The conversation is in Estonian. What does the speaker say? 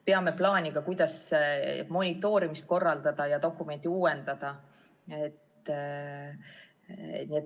Peame plaani, kuidas monitoorimist korraldada ja dokumenti uuendada.